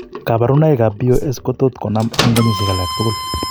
Kabarunaik ab BOS kotot konam en kenyisiek alagtugul , lakini